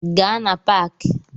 Gaa na Paaki!